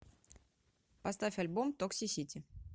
поставь альбом токсисити